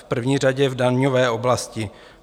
V první řadě v daňové oblasti.